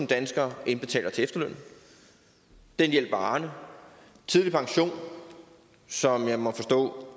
danskere indbetaler til efterlønnen den hjælper arne tidlig pension som jeg må forstå